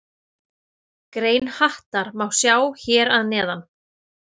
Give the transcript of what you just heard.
Grein Hattar má sjá hér að neðan.